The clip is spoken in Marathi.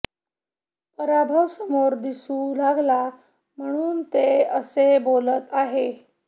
पराभव समोर दिसू लागला म्हणून ते असे बोलत आहे